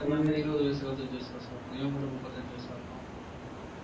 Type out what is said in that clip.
எல்லாமே இருபது வயசு இருபத்தஞ்சு வயசு பசங்க இருப்பாங்க இவன் மட்டும் முப்பத்தஞ்சு வயசா இருப்பான்